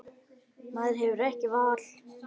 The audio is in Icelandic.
Maður hefur ekkert val.